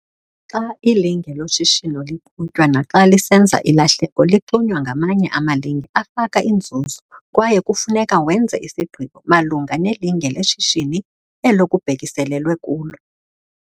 Xa ilinge loshishino liqhutywa naxa lisenza ilahleko lixunywa ngamanye amalinge afaka inzuzo kwaye kufuneka wenze isigqibo malunga nelinge leshishini elo kubhekiselelwe kulo.